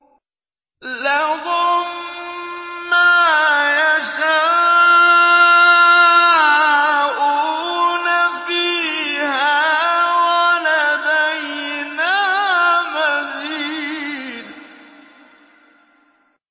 لَهُم مَّا يَشَاءُونَ فِيهَا وَلَدَيْنَا مَزِيدٌ